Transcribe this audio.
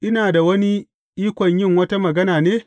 Ina da wani ikon yin wata magana ne?